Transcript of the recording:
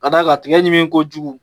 Ka da kan tigɛ ɲimin ko kojugu